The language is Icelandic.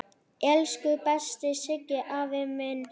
Elsku besti Siggi afi minn.